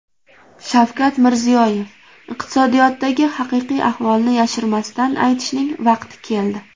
Shavkat Mirziyoyev: Iqtisodiyotdagi haqiqiy ahvolni yashirmasdan aytishning vaqti keldi.